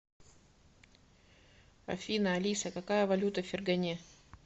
афина алиса какая валюта в фергане